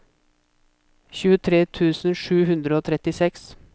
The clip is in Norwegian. tjuetre tusen sju hundre og trettiseks